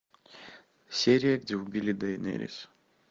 серия где убили дейнерис